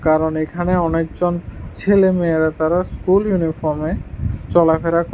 কারণ এখানে অনেকজন ছেলে মেয়েরা তারা স্কুল ইউনিফর্মে চলাফেরা ক--